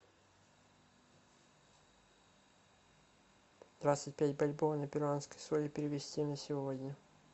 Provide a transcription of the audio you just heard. двадцать пять бальбоа на перуанские соли перевести на сегодня